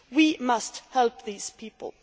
We must help these people.